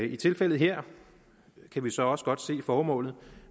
i tilfældet her kan vi så også godt se formålet